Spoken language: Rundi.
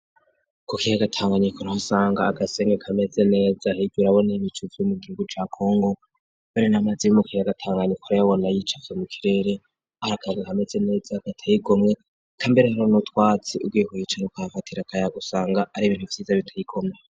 Kukiye agatanganyikor hasanga agasenge kameze neza higur abona y' ibicu vy'umugihugu ca kongo bare n'amazi y'mukiye agatanganyikoro yabona y'icafe mu kirere arakage kameze neza gatayikomwe kambere aro nutwatsi ubwihuyicane kafatira kaya gusanga ari ibintu vyiza bitayikomwe.